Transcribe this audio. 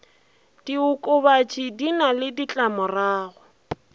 diokobatši di na le ditlamorago